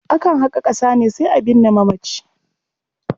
Akan haƙa ƙasa ne sai a binne mamaci.